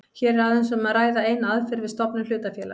Hér er aðeins um að ræða eina aðferð við stofnun hlutafélags.